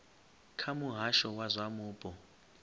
kha muhasho wa zwa mupo